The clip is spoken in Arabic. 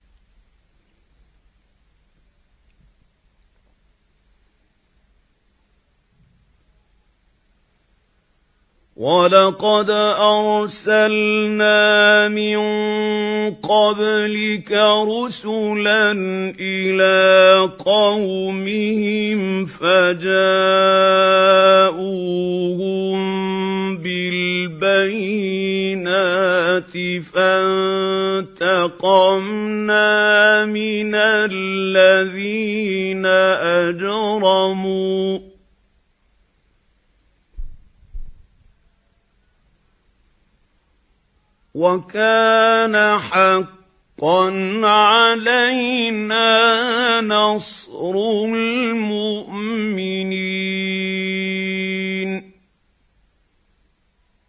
وَلَقَدْ أَرْسَلْنَا مِن قَبْلِكَ رُسُلًا إِلَىٰ قَوْمِهِمْ فَجَاءُوهُم بِالْبَيِّنَاتِ فَانتَقَمْنَا مِنَ الَّذِينَ أَجْرَمُوا ۖ وَكَانَ حَقًّا عَلَيْنَا نَصْرُ الْمُؤْمِنِينَ